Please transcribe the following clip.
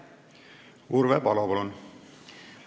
Urve Palo, palun!